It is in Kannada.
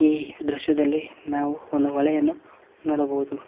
ಈ ದೃಶ್ಯದಲ್ಲಿ ನಾವು ಒಂದು ಹೊಳೆಯನ್ನು ನೋಡಬಹುದು.